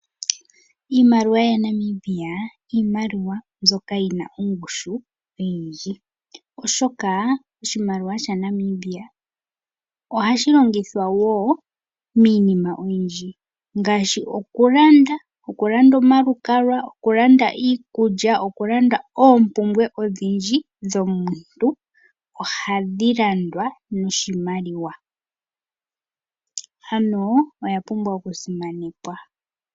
Iimaliwa yaNamibia Iimaliwa mbyoka yina ongushu oyindji oshoka oshimaliwa sha Namibia ohashi longithwa woo miinima oyindji ngaashi okulanda, Okulanda omalukalwa ,okulanda iikulya ,okulanda oompumbwe odhindji dhomuntu ohadhi landwa noshimaliwa. Ano oya pumbwa okusimanekwa.